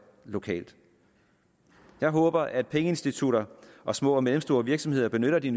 lokalt jeg håber at pengeinstitutter og små og mellemstore virksomheder benytter de